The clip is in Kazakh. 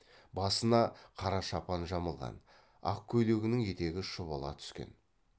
басына қара шапан жамылған ақ көйлегінің етегі шұбала түскен